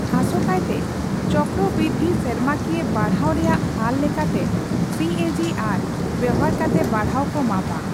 ᱟᱥᱳᱠᱟᱭᱛᱮ, ᱪᱚᱠᱠᱨᱚᱵᱨᱤᱫᱽᱫᱷᱤ ᱥᱮᱨᱢᱟᱠᱤᱭᱟᱹ ᱵᱟᱲᱦᱟᱣ ᱨᱮᱭᱟᱜ ᱦᱟᱨ ᱞᱮᱠᱟᱛᱮ (ᱥᱤᱮᱡᱤᱟᱨ) ᱵᱮᱣᱦᱟᱨ ᱠᱟᱛᱮ ᱵᱟᱲᱦᱟᱣ ᱠᱚ ᱢᱟᱯᱟ ᱾